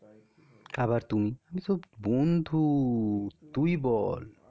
আবার তুমি? আরে বন্ধু তুই বল